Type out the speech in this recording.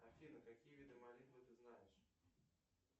афина какие виды молитвы ты знаешь